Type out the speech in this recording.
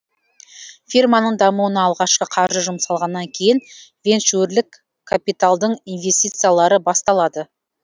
фирманың дамуына алғашқы қаржы жұмсалғаннан кейін венчурлік капиталдың инвестициялары басталады